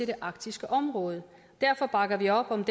det arktiske område derfor bakker vi op om